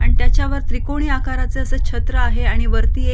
आणि त्याच्या वर त्रिकोणी आकारच अस छत्र आहे आणि वरती एक --